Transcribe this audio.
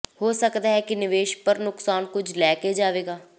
ਹੋ ਸਕਦਾ ਹੈ ਕਿ ਨਿਵੇਸ਼ ਪਰ ਨੁਕਸਾਨ ਕੁਝ ਲੈ ਕੇ ਜਾਵੇਗਾ